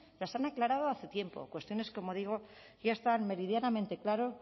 las han aclarado hace tiempo cuestiones como digo que ya estaba meridianamente claro